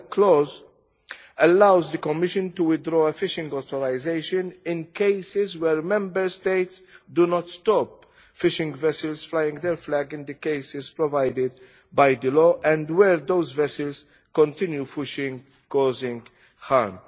clawback clause allows the Commission to withdraw a fishing authorisation in cases where Member States do not stop fishing vessels flying their flag in the cases provided by the law and where those vessels continue fishing, causing harm.